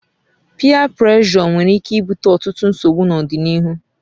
Piyee preshọ nweere ike ibute ọtụtụ nsogbu n'ọdịnihu